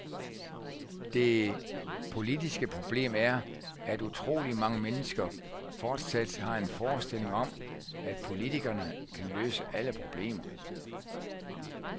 Det politiske problem er, at utrolig mange mennesker fortsat har en forestilling om, at politikerne kan løse alle problemer.